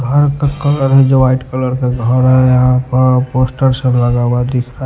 घर का कलर है जो वाइट कलर का घर है यहां पर पोस्टर से लगा हुआ दिख रहा --